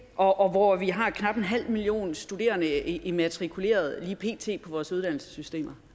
og hvor vi har knap en halv million studerende immatrikuleret lige pt i vores uddannelsessystem